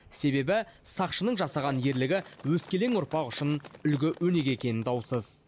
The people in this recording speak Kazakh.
себебі сақшының жасаған ерлігі өскелең ұрпақ үшін үлгі өнеге екені даусыз